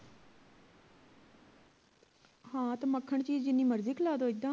ਹਾਂ ਤੇ ਮੱਖਣ ਚੀਜ਼ ਜਿੰਨੀ ਮਰਜੀ ਖਿਲਾ ਦੋ ਇੱਦਾਂ